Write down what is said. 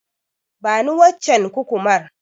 Bani waccen Kukumar.